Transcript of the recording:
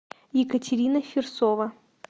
екатерина фирсова